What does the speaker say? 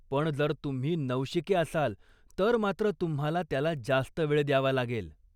पण जर तुम्ही नवशिके असाल तर मात्र तुम्हाला त्याला जास्त वेळ द्यावा लागेल.